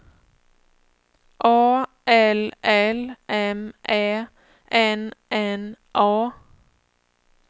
A L L M Ä N N A